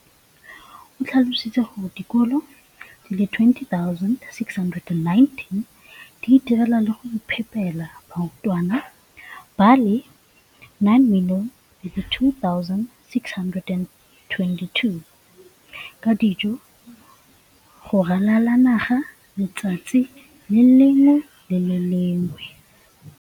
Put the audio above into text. o tlhalositse gore dikolo di le 20 619 di itirela le go iphepela barutwana ba le 9 032 622 ka dijo go ralala naga letsatsi le lengwe le le lengwe.